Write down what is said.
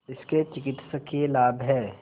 इसके चिकित्सकीय लाभ हैं